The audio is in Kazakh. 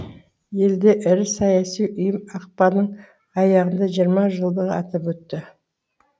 елде ірі саяси ұйым ақпанның аяғында жиырма жылдығы атап өтті